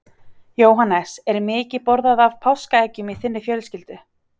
Jóhannes: Er mikið borðað af páskaeggjum í þinni fjölskyldu?